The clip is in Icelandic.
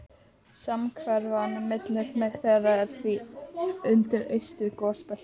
Samhverfan milli þeirra er því undir eystra gosbeltinu.